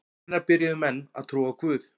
Hvenær byrjuðu menn að trúa á guð?